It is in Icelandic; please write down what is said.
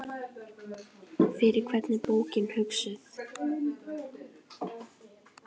Fyrir hvern er bókin hugsuð?